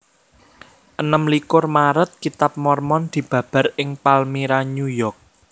Enem likur Maret Kitab Mormon dibabar ing Palmyra New York